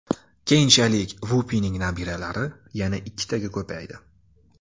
Keyinchalik Vupining nabiralari yana ikkitaga ko‘paydi.